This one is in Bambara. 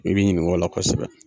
I bi ɲinink'o la kosɛbɛ